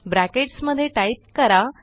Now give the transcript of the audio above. brackets मध्ये type करा